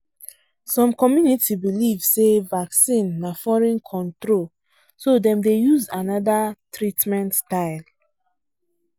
some community believe say vaccine na foreign control so dem dey use another treatment style